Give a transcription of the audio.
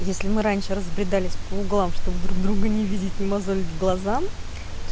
если мы раньше разбредались по углам чтобы друг друга не видеть не мозолить глаза